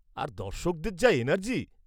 আর দর্শকদের যা এনার্জি!